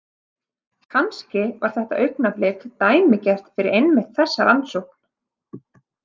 Kannski var þetta augnablik dæmigert fyrir einmitt þessa rannsókn.